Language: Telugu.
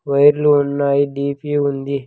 వైర్లు ఉన్నాయి డిపి ఉంది.